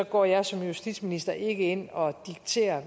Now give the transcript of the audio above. går jeg som justitsminister hverken ind og dikterer